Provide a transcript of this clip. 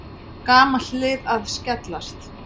Gamalt hlið að skellast.